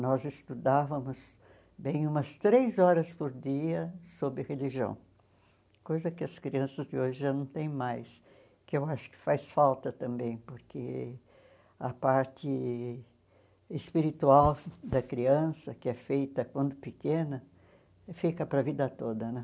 Nós estudávamos bem umas três horas por dia sobre religião, coisa que as crianças de hoje já não têm mais, que eu acho que faz falta também, porque a parte espiritual da criança, que é feita quando pequena, fica para a vida toda, né?